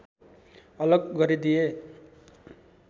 अलग गरिदिए